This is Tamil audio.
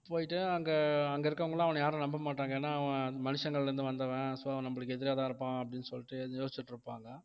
போயிட்டு அங்க அங்க இருக்கறவங்க எல்லாம் அவன யாரும் நம்ப மாட்டாங்க ஏன்னா அவன் மனுஷங்கள்ல இருந்து வந்தவன் so நம்மளுக்கு எதிராதான் இருப்பான் அப்படின்னு சொல்லிட்டு யோசிச்சிட்டு இருப்பாங்க